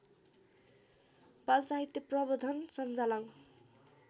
बालसाहित्य प्रवर्धन संजालङ